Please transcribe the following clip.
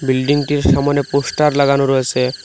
বিল্ডিংটির সামোনে পোস্টার লাগানো রয়েছে।